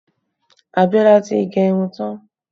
Abiola tí gẹ irun tán